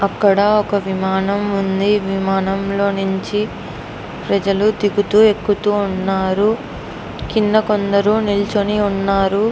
అక్కడా ఒక విమానం ఉంది. విమానంలో నుంచి ప్రజలు దిగుతూ ఎక్కుతూ ఉన్నారు. కింద కొందరు నిలుచుని ఉన్నారు.